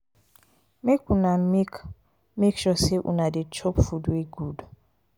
make una make make sure sey una dey chop food wey good.